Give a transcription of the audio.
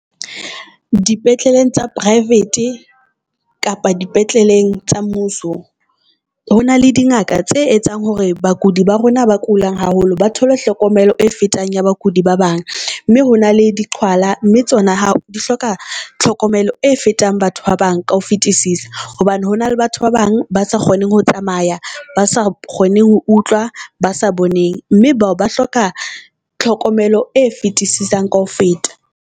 Dipetleleng tsa private kapa dipetleleng tsa mmuso, ho na le dingaka tse etsang hore bakudi ba rona ba kulang haholo ba thole hlokomelo e fetang ya bakudi ba bang. Mme ho na le diqhwala tsona hao di hloka tlhokomelo e fetang batho ba bang ka ho fetisisa. Hobane hona le batho ba bang ba sa kgoneng ho tsamaya, ba sa kgoneng ho utlwa, ba sa boneng mme bao ba hloka tlhokomelo e fetisisang ka ho feta.